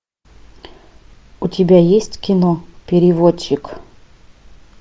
у тебя есть кино переводчик